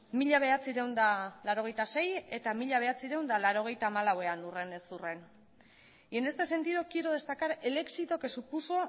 mila bederatziehun eta laurogeita sei eta mila bederatziehun eta laurogeita hamalauean urrenez urren y en este sentido quiero destacar el éxito que supuso